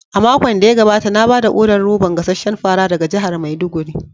A makon da ya gabata na ba da odar roban gasasshen fara daga jihar maiduguri.